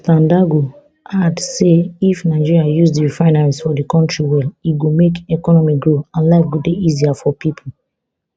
prof dandago add say if nigeria use di refineries for di kontri well e go make economy grow and life go dey easier for pipo